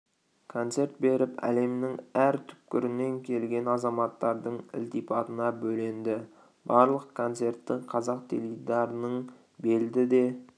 концерт беріп әлемнің әр түпкірінен келген азаматтардың ілтипатына бөленді барлық концертті қазақ теледидарының белді де